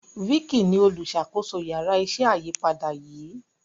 Vicky ní oluṣakoso Yàrá iṣẹ́ ayípadà yí.